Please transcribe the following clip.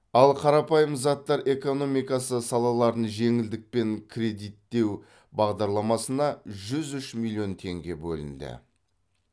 ал қарапайым заттар экономикасы салаларын жеңілдікпен кредиттеу бағдарламасына жүз үш миллион теңге бөлінді